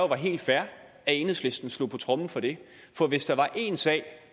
var helt fair at enhedslisten slog på tromme for det for hvis der var én sag